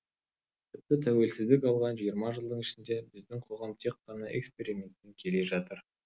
тіпті тәуелсіздік алған жиырма жылдың ішінде біздің қоғам тек қана экспериментпен келе жатыр